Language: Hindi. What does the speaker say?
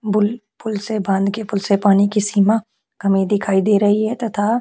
बुल पूल से बांध के पूल से पानी की सीमा कमी दिखाई दे रही है तथा--